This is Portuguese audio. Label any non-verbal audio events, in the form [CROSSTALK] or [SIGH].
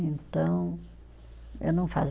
Então, eu não [UNINTELLIGIBLE]